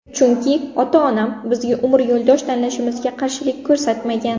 Chunki, ota-onam bizga umr yo‘ldosh tanlashimizga qarshilik ko‘rsatmagan.